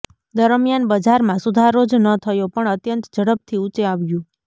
દરમિયાન બજારમાં સુધારો જ ન થયો પણ અત્યંત ઝડપથી ઊંચે આવ્યું